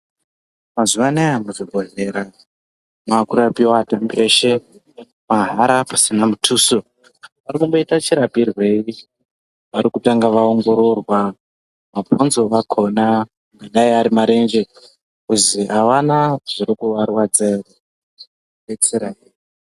Mazuva anaya muzvibhedhlera makurapiwa antani eshe mahara pasina mutuso, Varikumboita chirapirwei? Varikutanga vaongororwa mabhonzo akhona, kudai ari marenje kuzi avana zvirikuvarwadza here, vadetsereke.